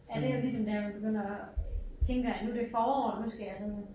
Ja det jo ligesom der man begynder at tænker jeg nu det forår nu skal jeg sådan